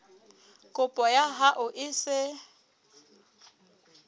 kopo ya hao e se